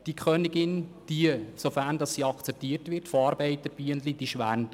Wenn die Königin von den Arbeiterbienen akzeptiert wird, schwärmt sie aus.